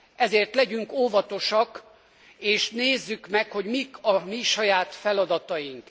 Ezért legyünk óvatosak, és nézzük meg, hogy mik a mi saját feladataink.